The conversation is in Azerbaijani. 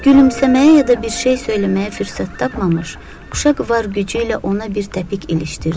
Gülümsəməyə ya da bir şey söyləməyə fürsət tapmamış, uşaq var gücü ilə ona bir təpik ilişdirdi.